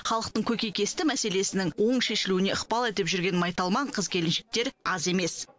халықтың көкейкесті мәселесінің оң шешілуіне ықпал етіп жүрген майталман қыз келіншектер аз емес